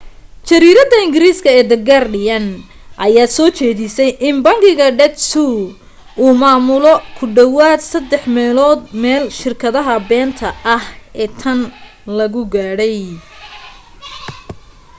jariiradda ingiriiska ee the guardian ayaa soo jeedisay in bangiga deutsche uu maamulo ku dhowaad saddex meelood meel shirkadaha beenta ah ee tan lagu gaadhay